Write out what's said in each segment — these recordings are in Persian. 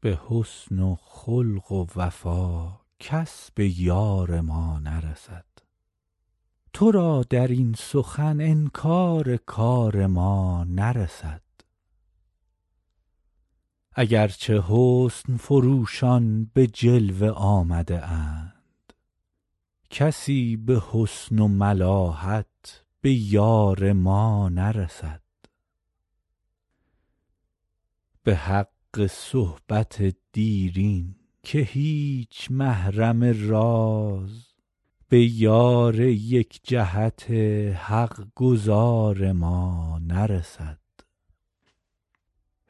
به حسن و خلق و وفا کس به یار ما نرسد تو را در این سخن انکار کار ما نرسد اگر چه حسن فروشان به جلوه آمده اند کسی به حسن و ملاحت به یار ما نرسد به حق صحبت دیرین که هیچ محرم راز به یار یک جهت حق گزار ما نرسد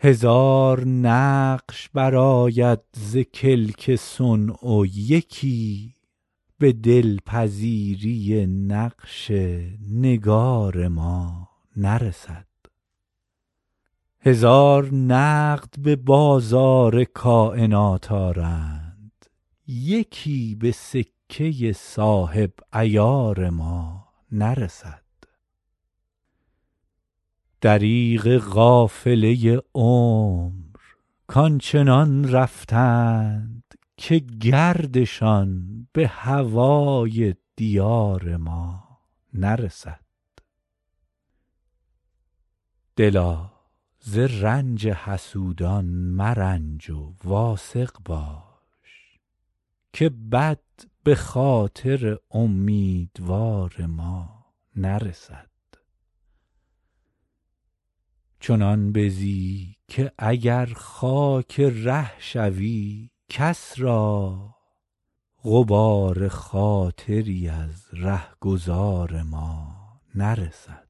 هزار نقش برآید ز کلک صنع و یکی به دل پذیری نقش نگار ما نرسد هزار نقد به بازار کاینات آرند یکی به سکه صاحب عیار ما نرسد دریغ قافله عمر کآن چنان رفتند که گردشان به هوای دیار ما نرسد دلا ز رنج حسودان مرنج و واثق باش که بد به خاطر امیدوار ما نرسد چنان بزی که اگر خاک ره شوی کس را غبار خاطری از ره گذار ما نرسد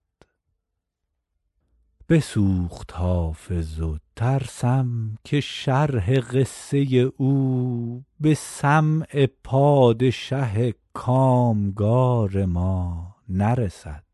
بسوخت حافظ و ترسم که شرح قصه او به سمع پادشه کام گار ما نرسد